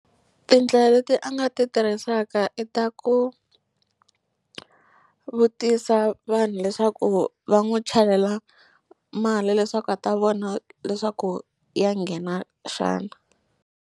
Tindlela leti a nga ti tirhisaka i ta ku vutisa vanhu leswaku va n'wi chelela mali leswaku a ta vona leswaku ya nghena xana.